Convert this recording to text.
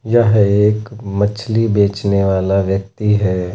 यह एक मछली बेचने वाला व्यक्ति है।